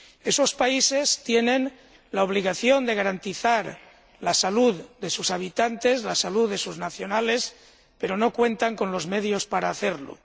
Esos países tienen la obligación de garantizar la salud de sus habitantes, la salud de sus nacionales, pero no cuentan con los medios para hacerlo.